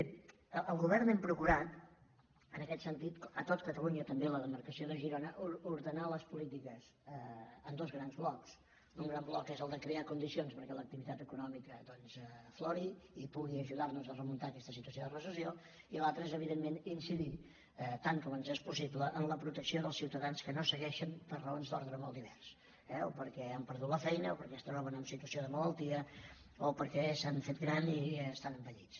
bé el govern hem procurat en aquest sentit a tot ca·talunya també a la demarcació de girona ordenar les polítiques en dos grans blocs un gran bloc és el de crear condicions perquè l’activitat econòmica doncs aflori i pugui ajudar·nos a remuntar aquesta situació de recessió i l’altre és evidentment incidir tant com ens és possible en la protecció dels ciutadans que no segueixen per raons d’ordre molt divers eh o perquè han perdut la feina o perquè es troben en situació de malaltia o perquè s’han fet grans i estan envellits